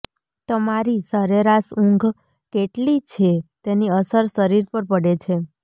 તમારી સરેરાશ ઊંઘ કેટલી છે તેની અસર શરીર પર પડે છે